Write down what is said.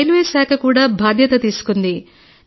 railway శాఖ కూడా బాధ్యత తీసుకుంది